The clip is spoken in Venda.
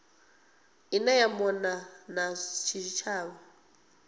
ine ya mona na zwitshavha